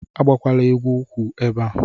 Agbakwala egwu ukwu ebe a.